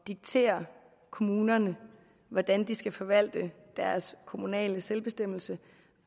diktere kommunerne hvordan de skal forvalte deres kommunale selvbestemmelse